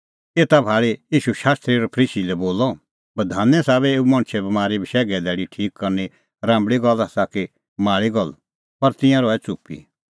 एता भाल़ी ईशू शास्त्री और फरीसी लै बोलअ बधाने साबै एऊ मणछे बमारी बशैघे धैल़ी ठीक करनी राम्बल़ी गल्ल आसा कि माल़ी गल्ल पर तिंयां रहै च़ुप्पी